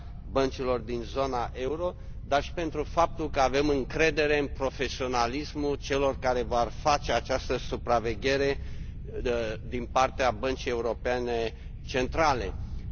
băncilor din zona euro, dar și pentru faptul că avem încredere în profesionalismul celor care vor face această supraveghere din partea Băncii Centrale Europene.